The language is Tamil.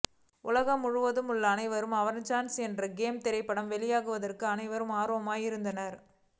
உலகம் முழுவதும் உள்ள அனைவரும் அவெஞ்சர்ஸ் என்ட் கேம் திரைப்படம் வெளியாவதற்கு அனைவரும் ஆர்வமுடன் இருந்தனர்